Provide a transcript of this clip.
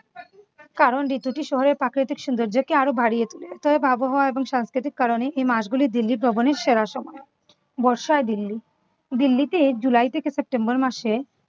কারণ ঋতুটি শহরের প্রাকৃতিক সৌন্দর্যকে আরো বাড়িয়ে তোলে। অতএব আবহাওয়া এবং সংস্কৃতিক কারণেই এই মাসগুলি দিল্লি ভ্রমণের সেরা সময়। বর্ষায় দিল্লি দিল্লিতে এই july থেকে september মাসে